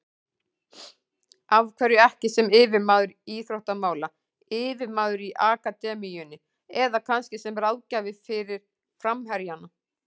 Af hverju ekki sem yfirmaður íþróttamála, yfirmaður í akademíunni eða kannski sem ráðgjafi fyrir framherjana?